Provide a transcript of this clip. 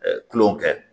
kulonkɛ kɛ